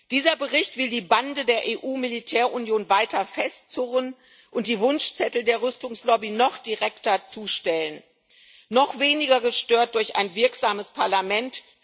Dieser Bericht will die Bande der EU Militärunion weiter festzurren und die Wunschzettel der Rüstungslobby noch direkter zustellen noch weniger gestört durch ein wirksames Parlament.